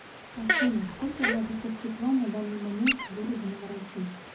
афина сколько градусов тепла на данный момент в городе новороссийск